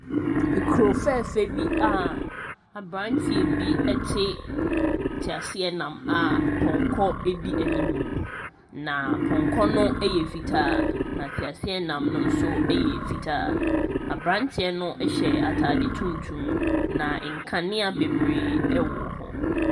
Ekuro fɛfɛɛfɛ bi a aberanteɛ bi ɛte teaseɛnam a pɔnkɔ ɛdi animuu na pɔnkɔ no ɛyɛ fitaa na teaseɛnam no nso ɛyɛ fitaa na aberanteɛ no hyɛ ataade tuntum na nkanea bebree ɛwɔ hɔ.